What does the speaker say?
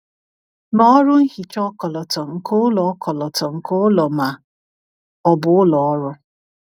Mee ọrụ nhicha ọkọlọtọ nke ụlọ ọkọlọtọ nke ụlọ ma ọ bụ ụlọ ọrụ.